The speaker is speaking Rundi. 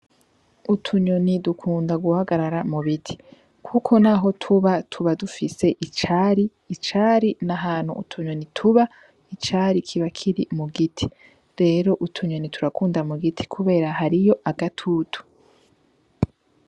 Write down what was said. Utunyoni dukunda guhagarara mubiti naho tuba tuba dufise icari , icari ni ahantu utunyoni tuba icari kiba kiri mu giti rero utunyoni turakunda mugiti kubera hariyo agatutu.